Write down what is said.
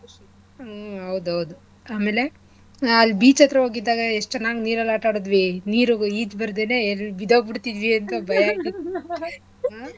ಹ್ಮ್ ಹೌದು ಹೌದು ಆಮೇಲೆ ಅಲ್ beach ಹತ್ರ ಹೋಗಿದ್ದಾಗ ಎಷ್ಟ ಚನ್ನಾಗ್ ನೀರಲ್ಲಿ ಆಟ ಆಡಿದ್ವಿ ನೀರುಗ್ ಈಜು ಬರ್ದೇನೇ ಬಿದ್ದೋಗ್ಬಿಡ್ತಿದ್ವಿ ಅಂತ ಭಯ ಆಗ್ತಿತ್ತು ಹಾ.